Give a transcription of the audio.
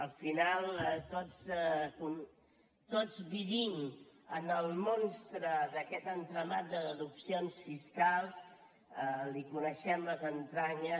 al final tots vivim en el monstre d’aquest entramat de deduccions fiscals en coneixem les entranyes